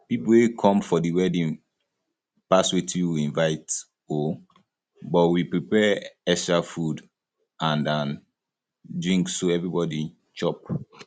people wey come for the wedding pass wetin we invite um but we prepare extra food and and um drink so everybody chop um